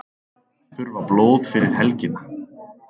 Þurfa blóð fyrir helgina